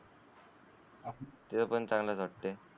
ते पण चांगलंच असतंय.